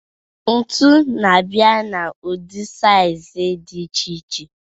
Ntu na-abịa n'ụdị saịzị dị iche iche.